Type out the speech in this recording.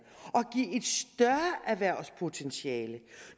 og erhvervspotentiale